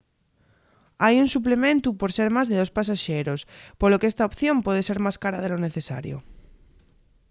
hai un suplementu por ser más de dos pasaxeros polo qu’esta opción puede ser más cara de lo necesario